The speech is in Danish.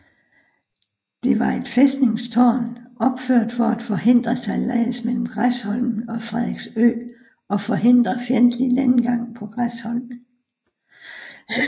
Det var et fæstningstårn opført for at forhindre sejlads mellem Græsholmen og Frederiksø og forhindre fjendtlig landgang på Græsholmen